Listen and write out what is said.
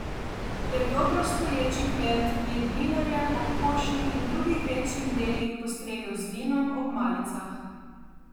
Le dobro stoječi kmet je dninarjem ob košnji in drugih večjih delih postregel z vinom ob malicah.